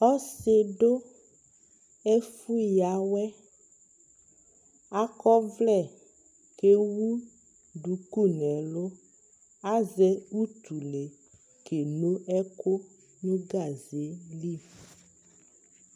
Ɔsi dʋ ɛfʋyawɛ Akɔ ɔvlɛ kʋ ewu dʋkʋ n'ɛlʋ Azɛ utule keno ɛkʋ nʋ gaze yɛ li